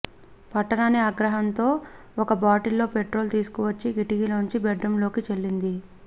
పట్టరాని ఆగ్రహంతో ఒక బాటిల్ లో పెట్రోల్ తీసుకువచ్చి కిటికీలో నుంచి బెడ్రూంలోకి చల్లింది